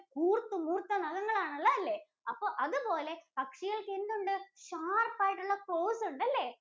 കൂര്‍ത്ത് മൂര്‍ത്ത നഖങ്ങളാണ് ഒള്ളെ അല്ലേ? അപ്പോ അതുപോലെ പക്ഷികള്‍ക്കെന്തുണ്ട്? Sharp ആയിട്ടുള്ള claws ഒണ്ട് അല്ലേ?